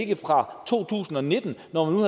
det fra to tusind og nitten når man nu